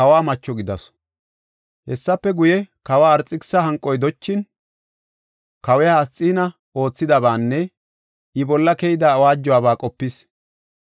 Hessafe guye, kawa Arxekisisa hanqoy dochin, kawiya Asxiina oothidabaanne I bolla keyida awaajuwaba qopis.